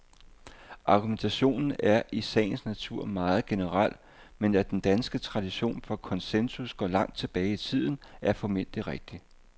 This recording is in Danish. Argumentationen er i sagens natur meget generel, men at den danske tradition for konsensus går langt tilbage i tiden, er formentlig rigtigt.